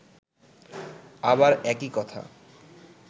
আবার একই কথা